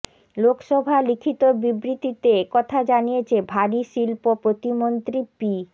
লোকসভা লিখিত বিবৃতিতে একথা জানিয়েছে ভারী শিল্প প্রতিমন্ত্রী পি